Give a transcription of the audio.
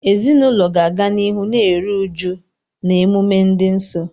Ezinụlọ ga-aga n'ihu na-eru uju na emume dị nsọ.